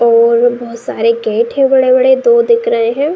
और बोहोत सारे गेट हैं बड़े-बड़े। दो दिख रहे हैं।